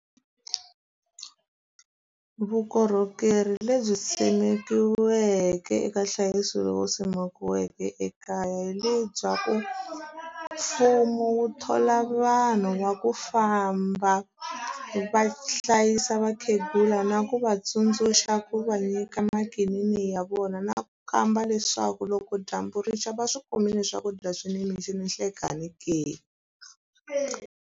Vukorhokeri lebyi simekiweke eka nhlayiso lowu simikiweke ekaya hi lebyaku, mfumo wu thola vanhu va ku famba va hlayisa vakhegula na ku vatsundzuxa ku va nyika makinini ya vona. Na khamba leswaku loko dyambu rixa va swi kumile swakudya swi nimixo ninhlekani ke.